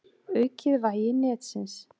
Aukið vægi netsins